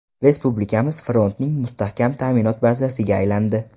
Respublikamiz frontning mustahkam ta’minot bazasiga aylandi.